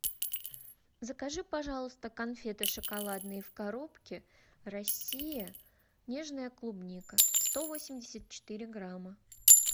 закажи пожалуйста конфеты шоколадные в коробке россия нежная клубника сто восемьдесят четыре грамма